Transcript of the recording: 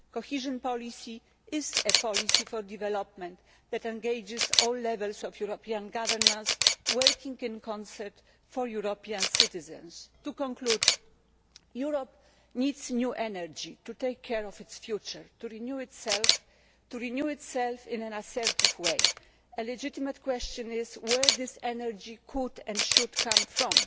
Cohesion policy is a policy for development that engages all levels of European governance working in concert for European citizens. To conclude, Europe needs new energy to take care of its future, to renew itself in an assertive way. It is legitimate to ask where this energy could and should come